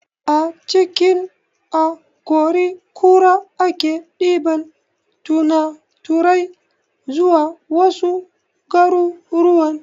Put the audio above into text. A cikin akori kura ake ɗiban tunaturai zuwa wasu garuruwan